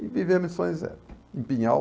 E vivemos em São José, em Pinhal.